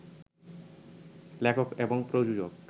লেখক এবং প্রযোজক